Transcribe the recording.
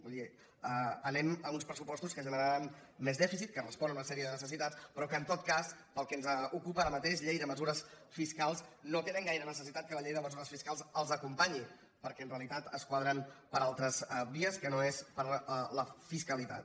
vull dir anem a uns pressupostos que generaran més dèficit que responen a una sèrie de necessitats però que en tot cas per al que ens ocupa ara mateix llei de mesures fiscals no tenen gaire necessitat que la llei de mesures fiscals els acompanyi perquè en realitat es quadren per altres vies que no són la fiscalitat